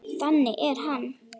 Þannig er hann.